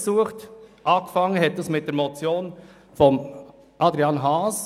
Der Anfang machte die Motion von Adrian Haas.